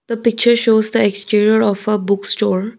the picture shows the exterior of a book store.